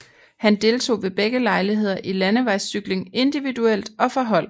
Han deltog ved begge lejligheder i landevejscykling individuelt og for hold